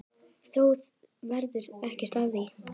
Þó varð ekkert af því.